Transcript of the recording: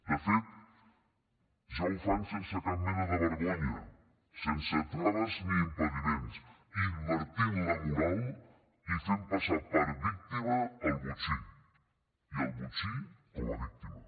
de fet ja ho fan sense cap mena de vergonya sense traves ni impediments invertint la moral i fent passar per víctima el botxí i el botxí com a víctima